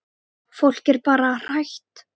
Fólk er bara hrætt.